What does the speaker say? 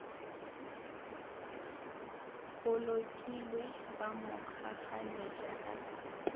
bolokilwe ba mo kgakganetša ka